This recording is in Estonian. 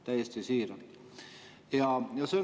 Täiesti siiralt!